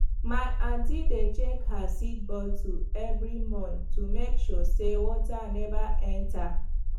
my aunty dey check her seed bottle every month to make sure say water never enter